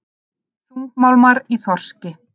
Þungmálmar í þorski